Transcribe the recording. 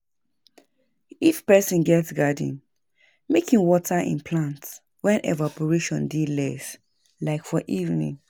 if person get garden, make im water im plants when evaporation dey less. like for evening